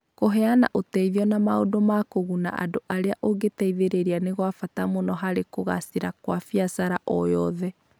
Kũheana ũteithio na maũndũ ma kũguna andũ arĩa ũgũteithĩrĩria nĩ gwa bata mũno harĩ kũgaacĩra kwa biacara o yothe.